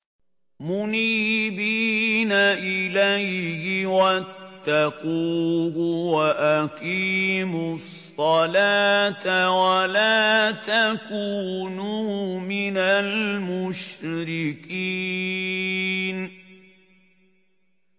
۞ مُنِيبِينَ إِلَيْهِ وَاتَّقُوهُ وَأَقِيمُوا الصَّلَاةَ وَلَا تَكُونُوا مِنَ الْمُشْرِكِينَ